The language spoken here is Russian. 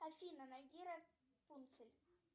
афина найди рапунцель